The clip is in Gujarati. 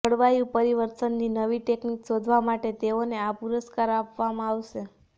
જળવાયુ પરિવર્તનની નવી ટેક્નિક શોધવા માટે તેઓને આ પુરસ્કાર આપવામાં આવશે